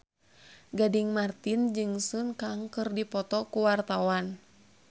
Gading Marten jeung Sun Kang keur dipoto ku wartawan